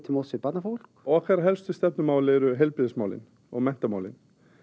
móts við barnafólk okkar helstu stefnumál eru heilbrigðismálin og menntamálin